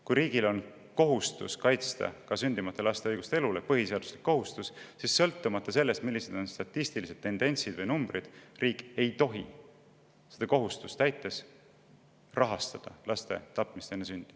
Kui riigil on kohustus, põhiseaduslik kohustus kaitsta ka sündimata laste õigust elule, siis sõltumata sellest, millised on statistilised tendentsid või numbrid, ei tohi riik seda kohustust täites rahastada laste tapmist enne sündi.